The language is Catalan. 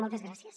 moltes gràcies